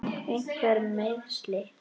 Einhver meiðsli?